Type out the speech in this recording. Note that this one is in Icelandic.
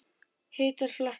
Hittar flatir